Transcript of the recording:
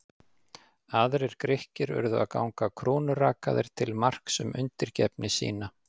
Aðrir Grikkir urðu að ganga krúnurakaðir til marks um undirgefni sína.